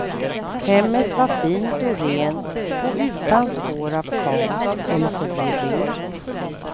Hemmet var fint och rent och utan spår av kaos eller förvirring.